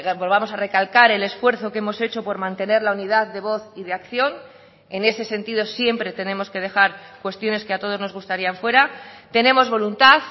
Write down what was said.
volvamos a recalcar el esfuerzo que hemos hecho por mantener la unidad de voz y de acción en ese sentido siempre tenemos que dejar cuestiones que a todos nos gustarían fuera tenemos voluntad